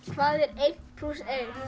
hvað er einn plús